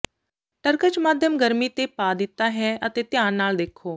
ਟਰ੍ਕ੍ਚ ਮਾਧਿਅਮ ਗਰਮੀ ਤੇ ਪਾ ਦਿੱਤਾ ਹੈ ਅਤੇ ਧਿਆਨ ਨਾਲ ਦੇਖੋ